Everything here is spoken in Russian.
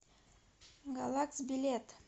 галакс билет